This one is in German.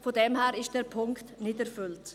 von daher ist dieser Punkt nicht erfüllt.